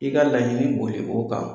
I ka laɲini boli o kan.